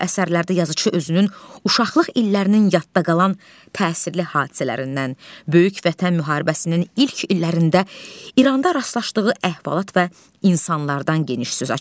Bu əsərlərdə yazıçı özünün uşaqlıq illərinin yadda qalan təsirli hadisələrindən, böyük Vətən müharibəsinin ilk illərində İranda rastlaşdığı əhvalat və insanlardan geniş söz açır.